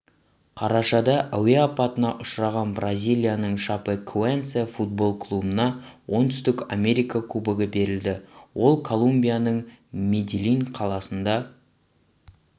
қарашада әуе апатына ұшырған бразилияның шапекоэнсе футбол клубына оңтүстік америка кубогі берілді ол колумбияның медельин қаласында